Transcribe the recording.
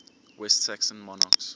west saxon monarchs